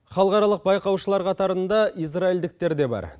халықаралық байқаушылар қатарында израйльдіктер де бар